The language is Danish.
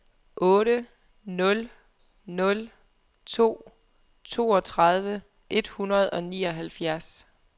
otte nul nul to toogtredive et hundrede og nioghalvfjerds